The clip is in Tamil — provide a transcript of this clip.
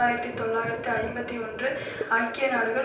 ஆயிரத்தி தொள்ளாயிரத்து ஐம்பத்தி ஒன்று ஐக்கிய நாடுகள்